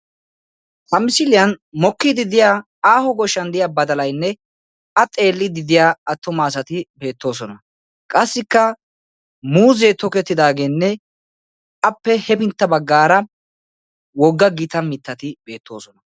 ha misiliyani mokkidi de"iya badalay aaho shooqani beettessi a xeelidi de"iya assatikka beettosona qassi ya bagarakka muuzeka beettesi.